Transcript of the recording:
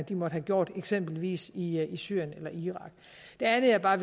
de måtte have gjort eksempelvis i syrien eller irak det andet jeg bare